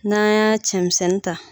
N'an y'a cɛmisɛnnin ta.